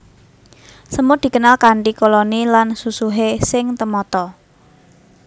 Semut dikenal kanthi koloni lan susuhé sing temata